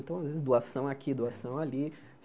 Então, às vezes, doação aqui, doação ali.